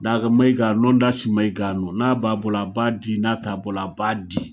Daga Maiga, Londas Maiga nu, n'a b'a bolo a b'a di n'a t'a bolo a b'a di.